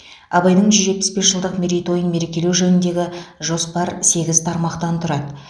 абайдың жүз жетпіс бес жылдық мерейтойын мерекелеу жөніндегі жоспар сегіз тармақтан тұрады